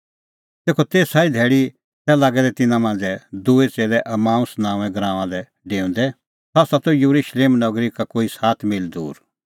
तेखअ तेसा ई धैल़ी तै लागै दै तिन्नां मांझ़ै दूई च़ेल्लै इम्माऊस नांओंऐं गराऊंआं लै डेऊंदै सह त येरुशलेम नगरी का कोई सात मील दूर